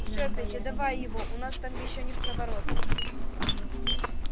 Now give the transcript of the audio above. всё петя давай его у нас там ещё невпроворот